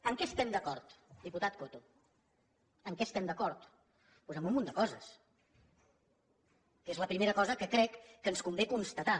en què estem d’acord diputat coto en què estem d’acord doncs en un munt de coses que és la primera cosa que crec que ens convé constatar